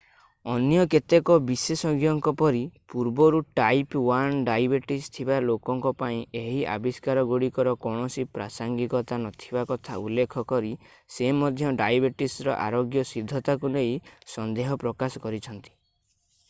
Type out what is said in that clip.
ଅନ୍ୟ କେତେକ ବିଶେଷଜ୍ଞଙ୍କ ପରି ପୂର୍ବରୁ ଟାଇପ୍ 1 ଡାଇବେଟିସ୍ ଥିବା ଲୋକଙ୍କ ପାଇଁ ଏହି ଆବିଷ୍କାରଗୁଡ଼ିକର କୌଣସି ପ୍ରାସଙ୍ଗିକତା ନଥିବା କଥା ଉଲ୍ଲେଖ କରି ସେ ମଧ୍ୟ ଡାଇବେଟିସର ଆରୋଗ୍ୟସିଦ୍ଧତାକୁ ନେଇ ସନ୍ଦେହ ପ୍ରକାଶ କରିଛନ୍ତି